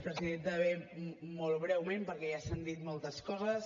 bé molt breument perquè ja s’han dit moltes coses